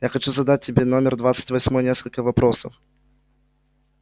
я хочу задать тебе номер двадцать восьмой несколько вопросов